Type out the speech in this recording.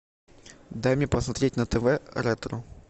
дай мне посмотреть на тв ретро